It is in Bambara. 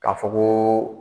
K'a fɔ ko